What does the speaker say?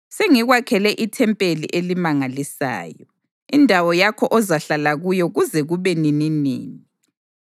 sengikwakhele ithempeli elimangalisayo, indawo yakho ozahlala kuyo kuze kube nininini.”